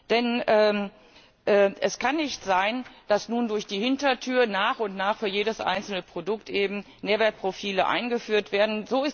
Denn es kann nicht sein, dass nun durch die Hintertür nach und nach für jedes einzelne Produkt Nährwertprofile eingeführt werden.